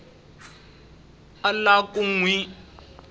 a lava ku n wi